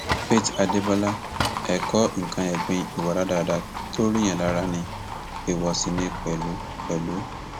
faith adébọlá ẹkọ nǹkan ẹgbin ìwà rádaràda tó ríyàn lára ni èèwọ sì ni pẹlú pẹlú